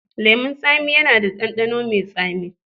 Lemun tsami yana da ɗanɗano mai tsami.